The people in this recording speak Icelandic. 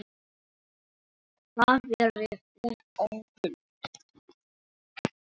Þar verði hún óhult.